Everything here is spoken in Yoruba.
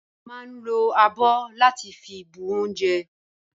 A ma ń lo abọ́ láti fi bu oúnjẹ